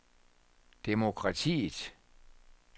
demokratiet